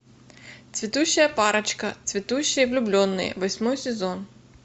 цветущая парочка цветущие влюбленные восьмой сезон